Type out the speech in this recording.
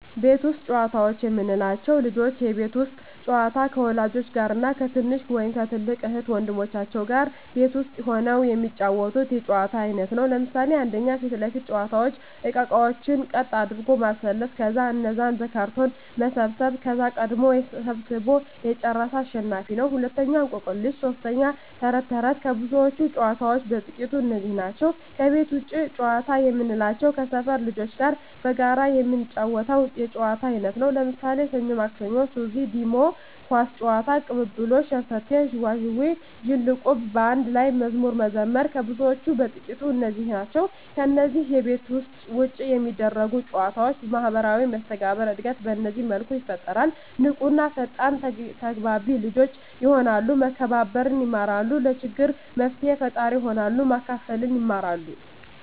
ቤት ውስጥ ጨዋታዎች የምንላቸው፦ ልጆች የቤት ውስጥ ጨዋታ ከወላጆች ጋር እና ከትንሽ ወይም ከትልቅ እህት ወንድሞቻቸው ጋር ቤት ውስጥ ሁነው የሚጫወቱት የጨዋታ አይነት ነው። ለምሣሌ 1. ፊት ለፊት መጫዎቻ እቃቃዎችን ቀጥ አድርጎ ማሠለፍ ከዛ እነዛን በካርቶን መሰብሠብ ከዛ ቀድሞ ሠብስቦ የጨረሠ አሸናፊ ነው፤ 2. እቆቅልሽ 3. ተረት ተረት ከብዙዎች ጨዋታዎች በጥቃቱ እነዚህ ናቸው። ከቤት ውጭ ጨዋታ የምንላቸው ከሠፈር ልጆች ጋር በጋራ የምንጫወተው የጨዋታ አይነት ነው። ለምሣሌ፦ ሠኞ ማክሠኞ፤ ሱዚ፤ ዲሞ፤ ኳስ ጨዋታ፤ ቅልልቦሽ፤ ሸርተቴ፤ ዥዋዥዌ፤ ዝልቁብ፤ በአንድ ላይ መዝሙር መዘመር ከብዙዎቹ በጥቂቱ እነዚህ ናቸው። ከነዚህ ከቤት ውጭ ከሚደረጉ ጨዎች ማህበራዊ መስተጋብር እድገት በዚህ መልኩ ይፈጠራል። ንቁ እና ፈጣን ተግባቢ ልጆች የሆናሉ፤ መከባበር የማራሉ፤ ለችግር መፍትሔ ፈጣሪ ይሆናሉ፤ ማካፈልን ይማራ፤